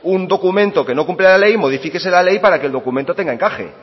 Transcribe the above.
un documento que no cumple la ley modifíquese la ley para que el documento tenga encaje